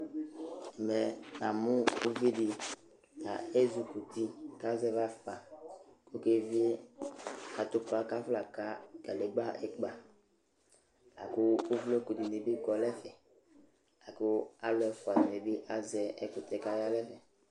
Ɛmɛ namʋ uvi dɩ ta ezikuti kʋ azɛvɩ afʋkpa kʋ ɔkevie atʋpa kʋ afɔnaka kadegbǝ ɩkpa la kʋ uvloku dɩnɩ bɩ kɔ nʋ ɛfɛ la kʋ alʋ ɛfʋa dɩnɩ bɩ azɛ ɛkʋtɛ kʋ aya nʋ ɛfɛ